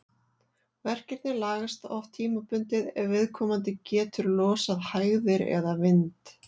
Verkirnir lagast þó oft tímabundið ef viðkomandi getur losað hægðir eða vind.